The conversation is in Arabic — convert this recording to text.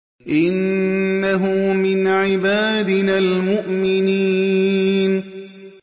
إِنَّهُ مِنْ عِبَادِنَا الْمُؤْمِنِينَ